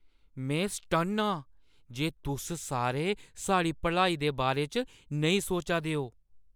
मैं सटन्न आं जे तुस सारे साढ़ी भलाई दे बारे च नेईं सोचा दे ओ ।